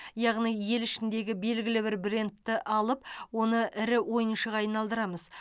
яғни ел ішіндегі белгілі бір брендті алып оны ірі ойыншыға айналдырамыз